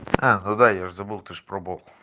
а ну да я забыл ты же пробовал